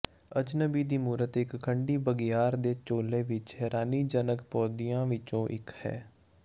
ਅਜਨਬੀ ਦੀ ਮੂਰਤ ਇੱਕ ਖੰਡੀ ਬਘਿਆੜ ਦੇ ਝੋਲੇ ਵਿੱਚ ਹੈਰਾਨੀਜਨਕ ਪੌਦਿਆਂ ਵਿੱਚੋਂ ਇਕ ਹੈ